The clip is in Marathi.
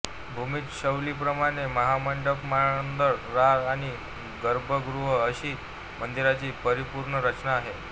भूमीज शैलीप्रमाणे मंडपमहामंडळअंतराळ आणि गर्भगृह अशी मंदिराची परिपूर्ण रचना आहे